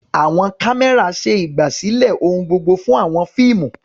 Àwọn kámẹ́rà ṣe ìgbàsílẹ̀ ohun gbogbo fún àwọn fíìmù.